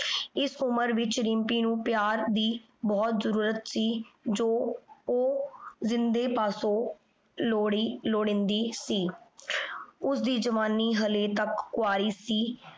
ਇਸ ਉਮਰ ਵਿਚ ਰਿਮਪੀ ਨੂ ਪਿਆਰ ਦੀ ਬੋਹਤ ਜ਼ਰੁਰਤ ਸੀ ਜੋ ਊ ਜਿੰਦੇ ਪਾਸੋਂ ਲੋੜੀਂਦੀ ਸੀ ਓਸਦੀ ਜਵਾਨੀ ਹਲੇ ਤਕ ਕੁੰਵਾਰੀ ਸੀ